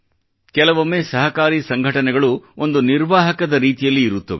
ಕೆಲವೊಮ್ಮೆ ಸಹಕಾರಿ ಸಂಘಟನೆಗಳು ಒಂದು ನಿರ್ವಾಹಕದ ರೀತಿಯಲ್ಲಿ ಇರುತ್ತದೆ